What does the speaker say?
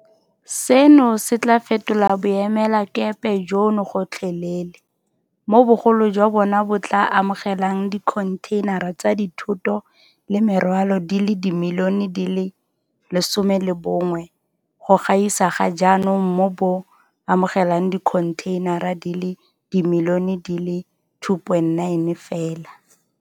Seno se tla fetola boemelakepe jono gotlhelele, mo bogolo jwa bona bo tla amogelang dikhonthei nara tsa dithoto le merwalo di le dimilione di le 11 go gaisa ga jaanong mo bo amogelang dikhontheinara di le dimilione di le 2.9 fela.